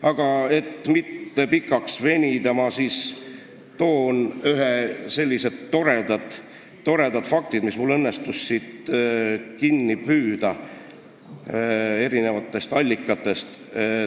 Aga et mitte liiga pikale venida, ma toon ühed toredad faktid, mis mul õnnestus kinni püüda eri allikatest.